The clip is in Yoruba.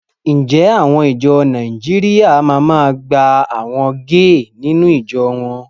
Ǹjẹ́ àwọn ìjọ Nàìjíríà ma máa gba àwọn géè nínú ìjọ wọn?